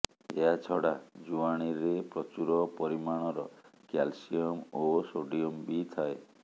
ଏହାଛଡ଼ା ଜୁଆଣୀରେ ପ୍ରଚୁର ପରିମାଣର କ୍ୟାଲସିୟମ୍ ଓ ସୋଡିୟମ୍ ବି ଥାଏ